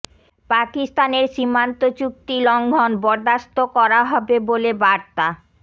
পাকিস্তানের সীমান্ত চুক্তি লঙ্ঘন বরদাস্ত করা হবে বলে বার্তা